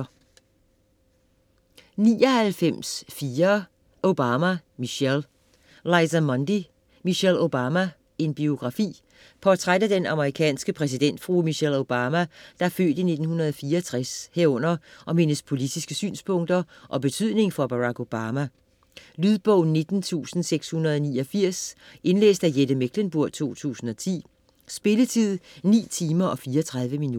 99.4 Obama, Michelle Mundy, Liza: Michelle Obama: en biografi Portræt af den amerikanske præsidentfrue Michelle Obama (f. 1964) herunder om hendes politiske synspunkter og betydning for Barack Obama. Lydbog 19689 Indlæst af Jette Mechlenburg, 2010. Spilletid: 9 timer, 34 minutter.